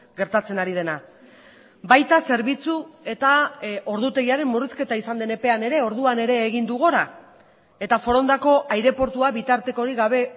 gertatzen ari dena baita zerbitzu eta ordutegiaren murrizketa izan den epean ere orduan ere egin du gora eta forondako aireportua bitartekorik gabe